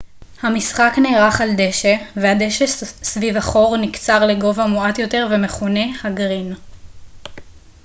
המשחק נערך על דשא והדשא סביב החור נקצר לגובה מועט יותר ומכונה ה גרין